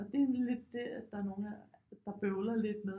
Og det er lidt det at der er nogle af der bøvler lidt med